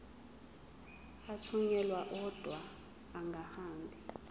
athunyelwa odwa angahambi